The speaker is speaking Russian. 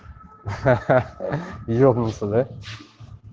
хи-хи ебнуться да